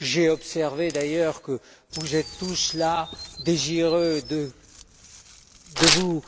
J'ai observé d'ailleurs que vous êtes tous là, désireux de vous